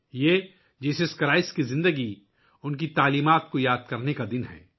یہ یسوع مسیح کی زندگی اور تعلیمات کو یاد کرنے کا دن ہے